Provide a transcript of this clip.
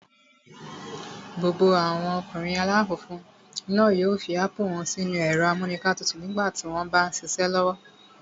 Gbogbo àwọn ọkùnrin aláwọ̀ funfun náà yóò fi ápù wọ́n sínu ẹ̀rọ-amúǹkantutù nígbà tí wọ́n m bá ṣiṣẹ́ lọ́wọ́